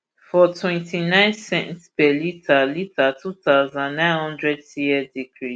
smnrp for ip twentynine cents per litre litre two thousand, nine hundred cl decrease